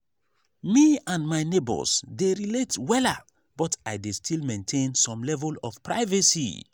me and my neighbors dey relate wella but i dey still maintain some level of privacy.